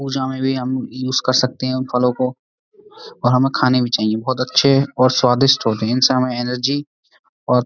पूजा में भी हम यूज कर सकते हैं उन फलों को और हमें खाने भी चाहिए बहुत अच्छे और स्वादिष्ट होते हैं उनसे हमें एनर्जी और--